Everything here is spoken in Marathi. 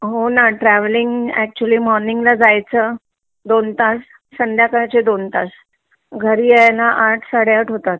हो ना ट्रॅवलिंग अॅक्चुअल्ली मॉर्निंग ला जायच दोन तास संध्याकाळचे दोन तास घरी यायला आठ साडे आठ होतात